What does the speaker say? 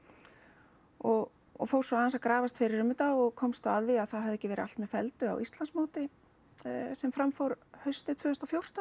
og og fór svo aðeins að grafast fyrir um þetta og komst þá að því að það hafði ekki verið allt með felldu á Íslandsmóti sem fram fór haustið tvö þúsund og fjórtán